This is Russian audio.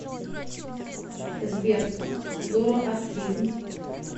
сбер зороастризм